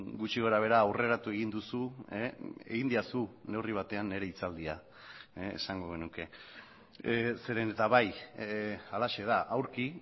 gutxi gorabehera aurreratu egin duzu egin didazu neurri batean nire hitzaldia esango genuke zeren eta bai halaxe da aurki